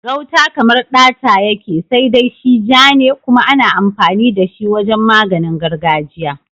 Gauta kamar ɗata yake, sai dai shi ja ne kuma ana amfani da shi wajen maganin gargajiya.